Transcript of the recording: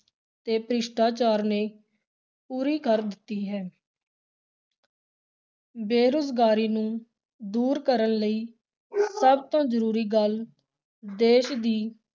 ਤੇ ਭ੍ਰਿਸ਼ਟਾਚਾਰ ਨੇ ਪੂਰੀ ਕਰ ਦਿੱਤੀ ਹੈ ਬੇਰੁਜ਼ਗਾਰੀ ਨੂੰ ਦੂਰ ਕਰਨ ਲਈ ਸਭ ਤੋਂ ਜ਼ਰੂਰੀ ਗੱਲ ਦੇਸ਼ ਦੀ